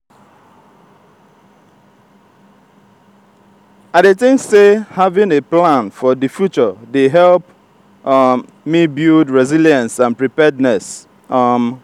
i dey think say having a plan for di future dey help um me build resilience and preparedness. um